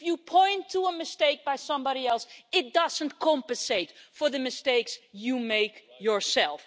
If you point to a mistake by somebody else, it doesn't compensate for the mistakes you make yourself.